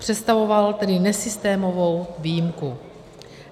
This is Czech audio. Představoval tedy nesystémovou výjimku.